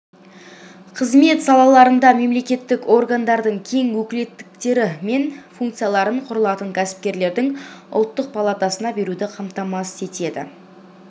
қызмет салаларында мемлекеттік органдардың кең өкілеттіктері мен функцияларын құрылатын кәсіпкерлердің ұлттық палатасына беруді қамтамасыз етеді